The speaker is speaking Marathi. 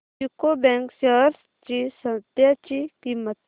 यूको बँक शेअर्स ची सध्याची किंमत